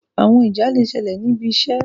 Àwọn ìjà le ṣẹlẹ ní ibì iṣé